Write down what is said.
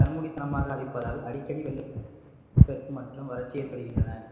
கண்மூடித்தனமாக அழிப்பதால் அடிக்கடி வெள்ளப்பெருக்கு மற்றும் வறட்சி ஏற்படுகின்றன